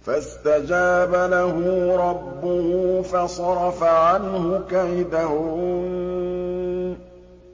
فَاسْتَجَابَ لَهُ رَبُّهُ فَصَرَفَ عَنْهُ كَيْدَهُنَّ ۚ